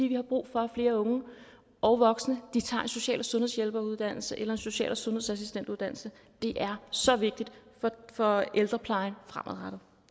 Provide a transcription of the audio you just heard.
vi har brug for at flere unge og voksne tager en social og sundhedshjælperuddannelse eller en social og sundhedsassistentuddannelse det er så vigtigt for ældreplejen fremadrettet